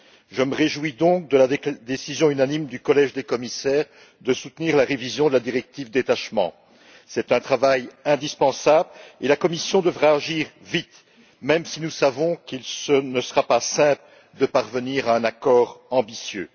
Je me réjouis donc de la décision unanime du collège des commissaires de soutenir la révision de la directive sur le détachement des travailleurs. C'est un travail indispensable, et la Commission devra agir vite, même si nous savons qu'il ne sera pas simple de parvenir à un accord ambitieux.